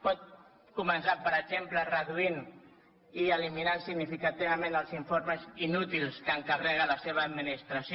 pot començar per exemple reduint i eliminant significativament els informes inútils que encarrega la seva administració